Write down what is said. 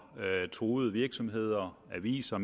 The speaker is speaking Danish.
truede virksomheder aviser